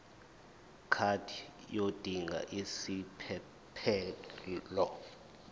card yodinga isiphephelok